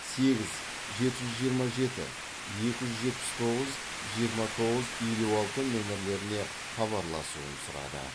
сегіз жеті жүз жиырма жеті екі жүз жетпіс тоғыз жиырма тоғыз елу алты нөмірлеріне хабарласуын сұрады